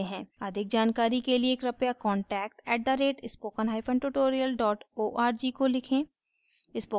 अधिक जानकारी के लिए कृपया contact @spokentutorial org को लिखें